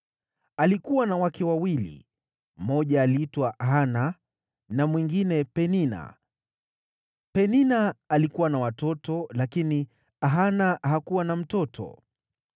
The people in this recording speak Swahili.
Alikuwa na wake wawili, mmoja aliitwa Hana na mwingine Penina. Penina alikuwa na watoto, lakini Hana hakuwa na mtoto.